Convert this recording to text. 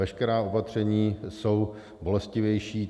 Veškerá opatření jsou bolestivější.